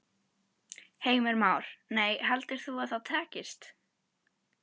Heimir Már: Nei, heldur þú að það takist?